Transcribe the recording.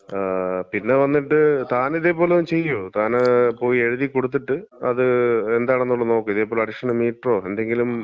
ആ, പിന്നെ വന്നിട്ട് താനിതേപോലെ ചെയ്യ്, താന് പോയി എഴുതി കൊടുത്തിട്ട് അത് എന്താണെന്നൊള്ളത് ഒന്ന് നോക്ക്, ഇതേപോലെ എന്താ അഡീഷണൽ മീറ്ററോ, എന്തെങ്കിലും,